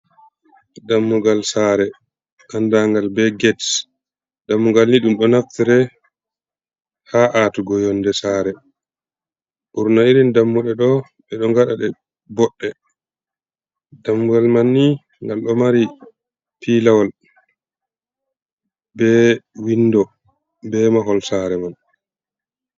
Dammugal sare andagal be gate ,dammugal ni dum do naftira ha atugo yonde saare burna irin dammude do be do ngadade bodde dammugal man ni ngal do mari piilawol be windo be mahol saare man.